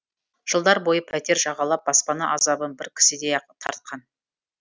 жылдар бойы пәтер жағалап баспана азабын бір кісідей ақ тартқан